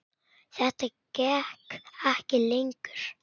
Þetta gekk ekki lengur.